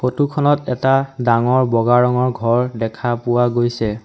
ফটোখনত এটা ডাঙৰ বগা ৰঙৰ ঘৰ দেখা পোৱা গৈছে।